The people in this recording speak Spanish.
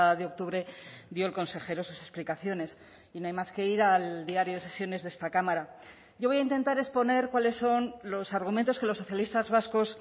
de octubre dio el consejero sus explicaciones y no hay más que ir al diario de sesiones de esta cámara yo voy a intentar exponer cuáles son los argumentos que los socialistas vascos